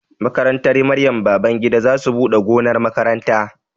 Makarantar Maryam Babangida za su buɗe gonar makaranta